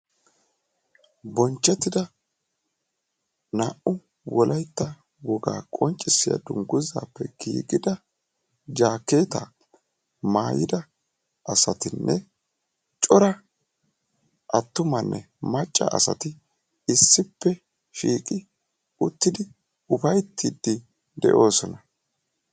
Bonchcetida naa"u wolaytta woga qonccissiya dungguzappe giigida Jakeetta maayyida asatinne cora attumanne macca asati issipe shiiqi uttidi upayttidi de'oosona.